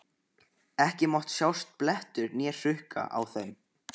Ekki mátti sjást blettur né hrukka á þeim.